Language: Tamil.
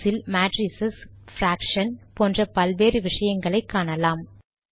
மேத்ஸ் இல் மேட்ரிஸ் பிராக்ஷன் போன்ற பல்வேறு விஷயங்களை காணலாம்